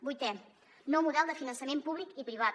vuitena nou model de finançament públic i privat